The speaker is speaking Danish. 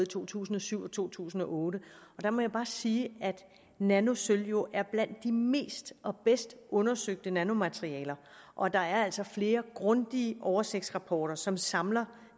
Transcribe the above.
to tusind og syv og to tusind og otte og jeg må bare sige at nanosølv jo er blandt de mest og bedst undersøgte nanomaterialer og at der altså er flere grundige oversigtsrapporter som samler